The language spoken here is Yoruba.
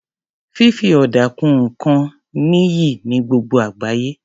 Fífi ọ̀dà kun nǹkan níyì ní gbogbo àgbáyé.